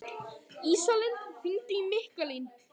Ísalind, hringdu í Mikkalín.